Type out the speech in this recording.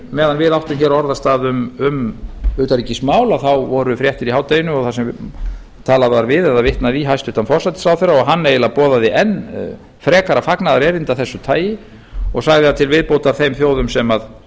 meðan við áttum hér orðastað um utanríkismál voru fréttir í hádeginu þar sem talað var við eða vitnað í hæstvirtur forsætisráðherra og hann eiginlega boðaði enn frekara fagnaðarerindi af þessu tagi og sagði að til viðbótar þeim þjóðum